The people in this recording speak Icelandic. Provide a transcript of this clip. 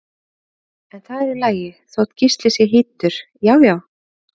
En það er í lagi þótt Gísli sé hýddur, já já!